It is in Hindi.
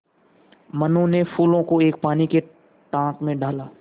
मनु ने फूलों को एक पानी के टांक मे डाला